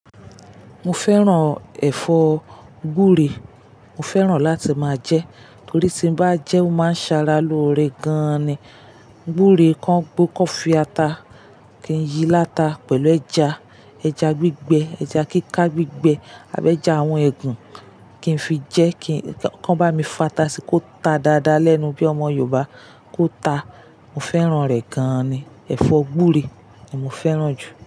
Mo fẹ́ràn ẹ̀fọ́ gbúre. Mo fẹ́ràn láti máa jẹ ẹ́. Torí tí n bá jẹ ẹ́, ó máa ń ṣara lóore gan-an ni. Gúre kan gbó, kan fi ata kí n yí láta pẹ̀lú ẹja. Ẹja gbígbẹ, ẹja kíká gbígbẹ, àbi ẹja àwọn ẹ̀gún kí n fi jẹ kí, kan bá mi fata sí ko ta dáadáa lẹ́nu bí ọmọ Yorùbá kó ta. Mo fẹ́ràn rẹ̀ gan-an ni. Ẹ̀fọ́ gúre ni mo fẹ́ràn jù.